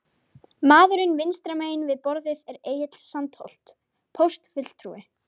Maðurinn vinstra megin við borðið er Egill Sandholt, póstfulltrúi.